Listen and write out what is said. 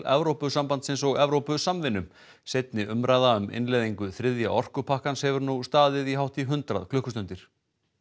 Evrópusambandsins og Evrópusamvinnu seinni umræða um innleiðingu þriðja orkupakkans hefur nú staðið í hátt í hundrað klukkustundir